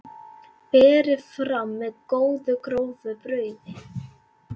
Berið fram með góðu, grófu brauði.